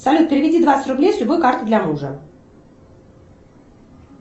салют переведи двадцать рублей с любой карты для мужа